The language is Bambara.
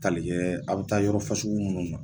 Tali kɛ a bi taa yɔrɔ fasugu munnu na